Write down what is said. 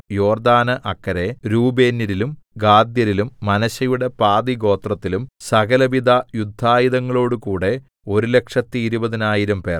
യോർദ്ദാന് അക്കരെ രൂബേന്യരിലും ഗാദ്യരിലും മനശ്ശെയുടെ പാതിഗോത്രത്തിലും സകലവിധ യുദ്ധായുധങ്ങളോടുകൂടെ ഒരുലക്ഷത്തിരുപതിനായിരംപേർ